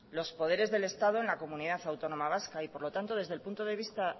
los poderes del estado en la comunidad autónoma vasca por lo tanto desde el punto de vista